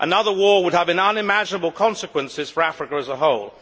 Another war would have unimaginable consequences for Africa as a whole.